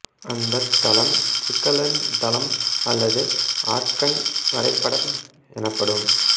அந்தத் தளம் சிக்கலெண் தளம் அல்லது ஆர்கன் வரைபடம் எனப்படும்